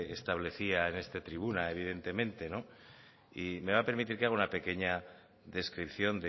establecía en esta tribuna evidentemente y me va a permitir que haga una pequeña descripción